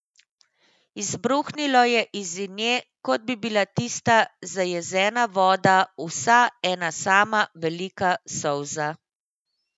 Izbruhnilo je iz nje, kot bi bila tista zajezena voda vsa ena sama velika solza.